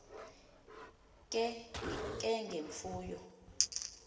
ke nge mfuyo